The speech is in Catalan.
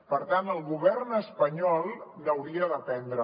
per tant el govern espanyol n’hauria d’aprendre